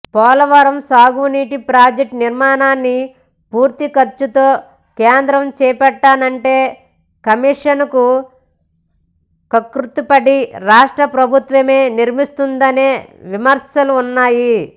పోలవరం సాగునీటి ప్రాజెక్టు నిర్మాణాన్ని పూర్తి ఖర్చుతో కేంద్రం చేపడతానంటే కమీషన్లకు కక్కుర్తిపడి రాష్ట్ర ప్రభుత్వమే నిర్మిస్తోందనే విమర్శలూ ఉన్నాయి